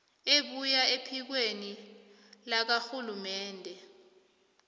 ebuya ephikweni lakarhulumende